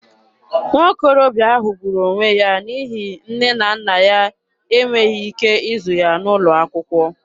Nwokorobịa ahụ gburu onwe ya n'ihi nne na nna ya e nweghị ike ịzụ ya n'ụlọ akwụkwọ.